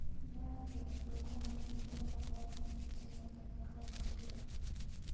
Nyath kelo dwoko mapiyo po nono ni time kanyakla kod ler.